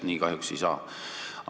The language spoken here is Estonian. Nii kahjuks ei saa.